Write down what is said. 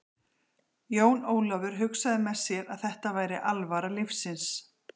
Jón Ólafur hugsaði með sér að þetta væri alvara lífsins.